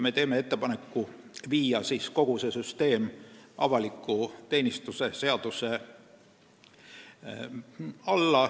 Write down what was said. Me teeme ettepaneku viia kogu süsteem avaliku teenistuse seaduse alla.